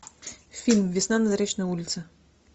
фильм весна на заречной улице